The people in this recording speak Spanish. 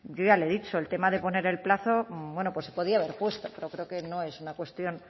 yo ya le he dicho el tema de poner el plazo bueno pues se podía haber puesto pero creo que no es una cuestión